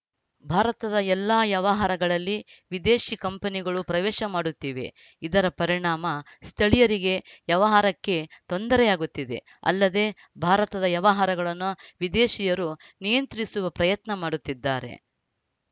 ಭಾರತದ ಎಲ್ಲ ವ್ಯವಹಾರಗಳಲ್ಲಿ ವಿದೇಶಿ ಕಂಪನಿಗಳು ಪ್ರವೇಶ ಮಾಡುತ್ತಿವೆ ಇದರ ಪರಿಣಾಮ ಸ್ಥಳೀಯರಿಗೆ ವ್ಯವಹಾರಕ್ಕೆ ತೊಂದರೆಯಾಗುತ್ತಿದೆ ಅಲ್ಲದೆ ಭಾರತದ ವ್ಯವಹಾರಗಳನ್ನು ವಿದೇಶಿಯರು ನಿಯಂತ್ರಿಸುವ ಪ್ರಯತ್ನ ಮಾಡುತ್ತಿದ್ದಾರೆ